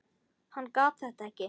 Hann gat þetta ekki.